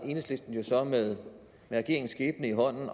enhedslisten jo så med regeringens skæbne i hånden